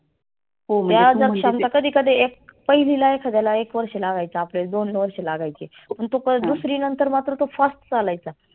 त्या जर क्षमता कधी कधी एक पहिलीला एखाद्याला एक वर्ष लागायचा दोन वर्ष लागायचे. पण दुसरी नंतर तो fast चालायचा.